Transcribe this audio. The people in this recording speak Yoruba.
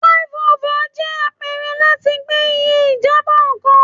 Flyovers jẹ apẹrẹ lati gbe iye ijabọ kan